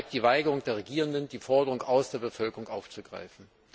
Es beschreibt die Weigerung der Regierenden, die Forderungen aus der Bevölkerung aufzugreifen.